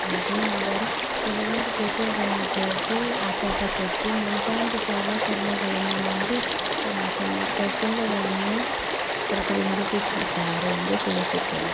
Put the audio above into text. ಹಾಗೆ ಅವರು ಕೆಲವೊಂದು ಪೇಪರ್ಗಳನ್ನು ಉಪಯೋಗಿಸಿ ಆಕಾಶಬುಟ್ಟಿ ಮುಂತಾದ ಸಲಕರಣಗಳನ್ನು ಮಾಡಿ ತಮ್ಮ ತಮ್ಮ ಕೌಶಲ್ಯಗಳನ್ನು ಪ್ರತಿಬಿಂಬಿಸುತ್ತಿದ್ದಾರೆ ಎಂದು ತಿಳಿಸುತ್ತೇವೆ.